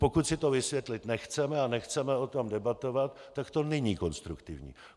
Pokud si to vysvětlit nechceme a nechceme o tom debatovat, tak to není konstruktivní.